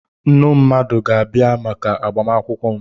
Nnu mmadụ ga-abịa maka agbamakwụkwọ m.